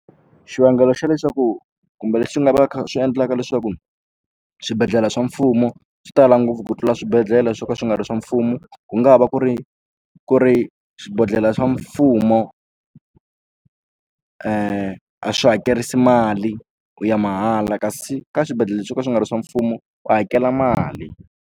Xivangelo xa leswaku kumbe lexi nga va kha swi endlaka leswaku swibedhlele swa mfumo swi tala ngopfu ku tlula swibedhlele swo ka swi nga ri swa mfumo ku nga va ku ri ku ri swibedhlele swa mfumo a swi hakerisi mali u ya mahala kasi ka swibedhlele swo ka swi nga ri swa mfumo u hakela mali.